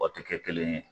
O tɛ kɛ kelen ye